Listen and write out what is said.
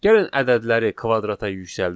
Gəlin ədədləri kvadrata yüksəldək.